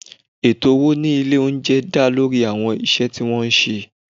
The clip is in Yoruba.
Ètò owó ní ilé oúnjẹ dá lórí àwọn iṣẹ́ tí wọ́n ń ṣe